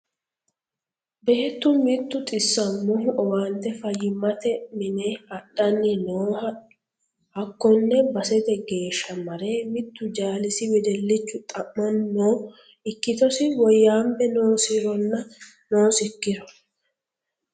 Beettu mitu xisamohu owaante fayyimate mine adhani nooha hakkone basete geeshsha mare mitu jaalisi wedellichu xa'mani no ikkittosi woyyanbe noosironna noosikkiro.